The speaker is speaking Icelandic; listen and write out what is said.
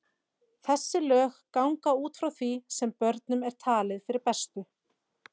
Þessi lög ganga út frá því sem börnum er talið fyrir bestu.